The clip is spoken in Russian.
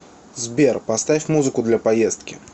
сбер поставь музыку для поездки